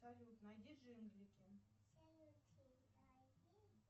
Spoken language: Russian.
салют найди джинглики